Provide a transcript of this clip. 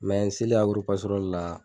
Mɛ n selen agororo pasorali la